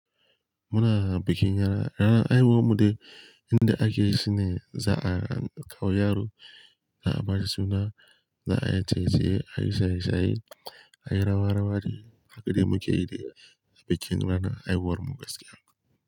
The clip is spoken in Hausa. Muna bikin rana. Rana ayi gwammude inda ake cine za'a kawo yaro da a ba da suna, da a yi tsetse, ayi shaishai, ayi rawarawa da hakuri muka yi da bikin rana ayi gwarmu gaskiya.